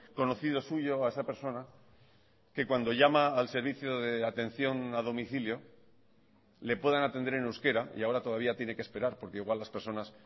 conocido suyo a esa persona que cuando llama al servicio de atención a domicilio le puedan atender en euskera y ahora todavía tiene que esperar porque igual las personas